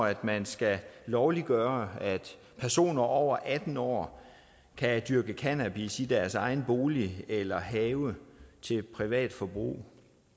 at man skal lovliggøre at personer over atten år kan dyrke cannabis i deres egen bolig eller have til privat forbrug